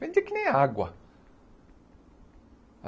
Vendia que nem água.